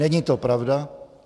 Není to pravda.